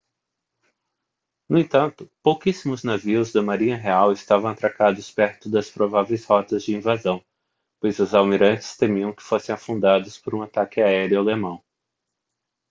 no entanto pouquíssimos navios da marinha real estavam atracados perto das prováveis rotas de invasão pois os almirantes temiam que fossem afundados por um ataque aéreo alemão